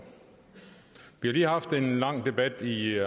vi har lige haft en lang debat i